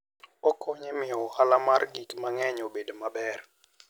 Okonyo e miyo ohala mar gik mang'eny obed maber.